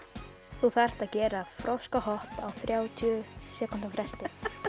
þú þarft að gera á þrjátíu sekúndna fresti